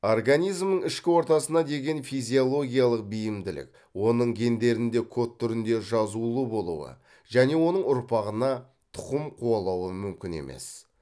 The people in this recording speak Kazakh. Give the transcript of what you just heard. организмнің ішкі ортасына деген физиологиялық бейімділік оның гендерінде код түрінде жазулы болуы және оның ұрпағына тұқым қуалауы мүмкін емес